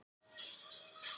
Hann reyndist minniháttar